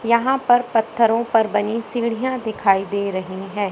यहां पर पत्थरों पर बनी सीढ़ियां दिखाई दे रही हैं।